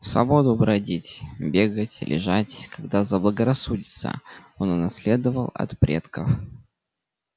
свободу бродить бегать лежать когда заблагорассудится он унаследовал от предков